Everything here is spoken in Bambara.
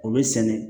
O bɛ sɛnɛ